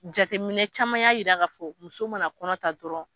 Jateminɛ caman y'a yira k'a fɔ muso mana kɔnɔ ta dɔrɔn